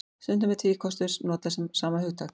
Stundum er tvíkostur notað um sama hugtak.